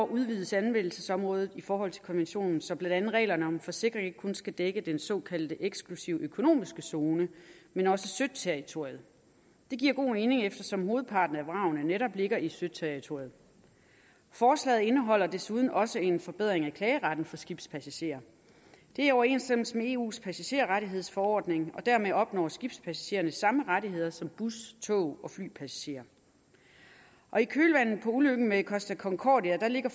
udvides anvendelsesområdet i forhold til konventionen så blandt andet reglerne om en forsikring ikke kun skal dække den såkaldte eksklusive økonomiske zone men også søterritoriet det giver god mening eftersom hovedparten af vragene netop ligger i søterritoriet forslaget indeholder desuden også en forbedring af klageretten for skibspassagerer det er i overensstemmelse med eus passagerrettighedsforordning og dermed opnår skibspassagerer samme rettigheder som bus tog og flypassagerer i kølvandet på ulykken med costa concordia lægger